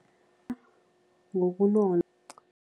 Ngobunono